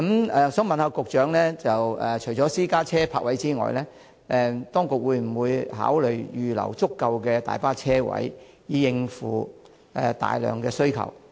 我想問局長，除私家車泊位外，當局會否考慮預留足夠大巴車位，以應付需求？